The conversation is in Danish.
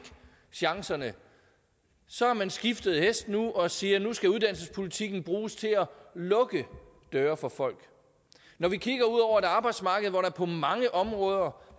chancerne så har man skiftet hest og siger at nu skal uddannelsespolitikken bruges til at lukke døre for folk når vi kigger ud over et arbejdsmarked hvor der på mange områder